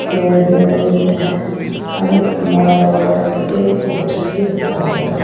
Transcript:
पेड़ भी लगे हुए हैं और एक खम्भा लगा हुआ है जिसपे एक पोस्टर भी रखा हुआ है।